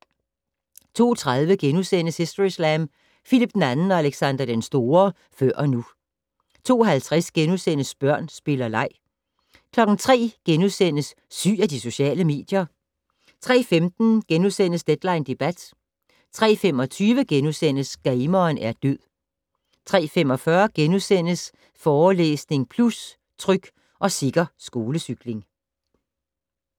02:30: Historyslam: Phillip II og Alexander den Store - før og nu * 02:50: Børn, spil og leg * 03:00: Syg af de sociale medier? * 03:15: Deadline debat * 03:25: Gameren er død * 03:45: Forelæsning Plus - Tryg og sikker skolecykling *